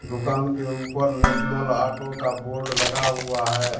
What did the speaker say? दुकान के ऊपर नेशनल ऑटो का बोर्ड लगा हुआ है।